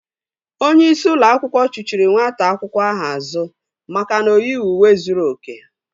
Onyeisi ụlọ akwụkwọ chuchiri nwata akwụkwọ ahụ azụ maka na oyighị uwe zuru oke